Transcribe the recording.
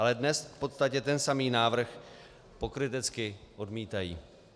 Ale dnes v podstatě ten samý návrh pokrytecky odmítají.